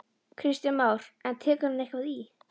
Kristján Már: En tekur hann eitthvað í?